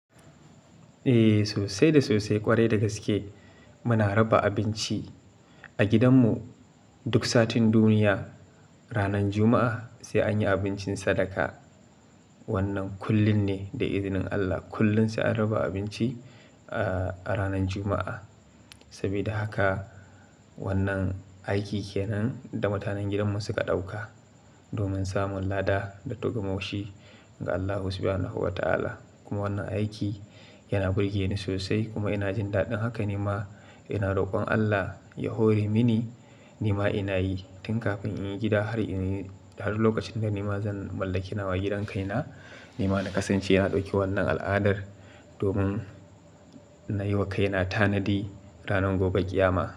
Eh, sosai da sosai ƙwarai dagaske. Muna raba abinci a gidanmu duk satin duniya, ranan Juma'a sai anyi abincin sadaka. Wannan kullum ne da izinin Allah, kullum sai an raba abinci a ranan Juma'a. Saboda haka wannan aiki kenan da mutanen gidanmu suka ɗauka domin samun lada da togamashi ga Allahu Subhanahu wa ta'ala. Kuma wannan aiki yana burgeni sosai kuma inajin daɗin haka nima ina rokon Allah ya hore mini nima inayi tun kafin inyi gida har lokacin da nima zan mallaki nawa gidan kaina. Nima na kasance na ɗauki wannan al'adar domin nayi wa kaina tanadi ranar gobe ƙiyama.